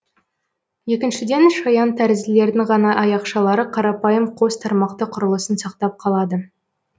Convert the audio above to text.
екіншіден шаян тәрізділердің ғана аяқшалары қарапайым қос тармақты құрылысын сақтап қалады